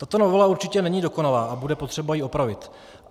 Tato novela určitě není dokonalá a bude potřeba ji opravit.